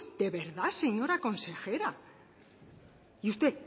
de verdad señora consejera y usted